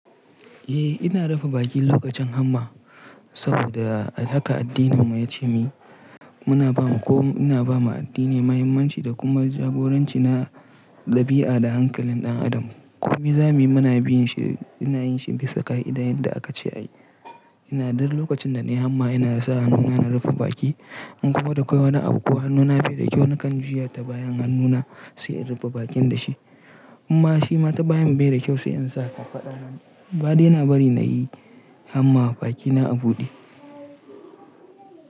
Eh ina rufe bakin lokacin hamma saboda ai haka addininmu ya ce muyi muna ba ko ina ba ma addini muhimmanci da kuma jagoranci na ɗabi'a da hankalin ɗan adam. Ko me za mu yi muna bin shi ina yin shi bisa ka'ida yadda aka ce a yi. Ina duk lokacin da na yi hamma ina rasa hannuna na rufe baki. In kuma da akwai wani abu ko hannuna bai da kyau nakan juya ta bayan hannuna sai in rufe bakin da shi. Amma shi ma ta bayan bai da kyau sai in sa kafaɗa. Ba dai nabari na yi hamma bakina a buɗe.